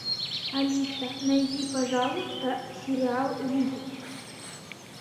алиса найди пожалуйста сериал видеть